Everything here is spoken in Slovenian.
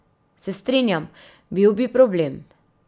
Se strinjam, bil bi problem.